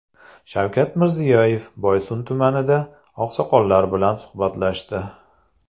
Shavkat Mirziyoyev Boysun tumanida oqsoqollar bilan suhbatlashdi.